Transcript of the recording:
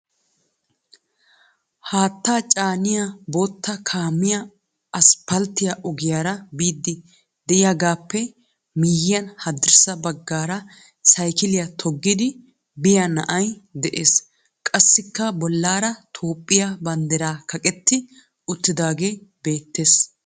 Haattaa caaniya bootta makiinay asppalttiyaa ogiyaara biiddi de'iyaagaappe miyiyan haddirssa baggaara saykiliyaa toggidi biya na"ay de'ees. Qassikka bollaara Toophphiyaa banddiray kaqetti uttidaagee beettes.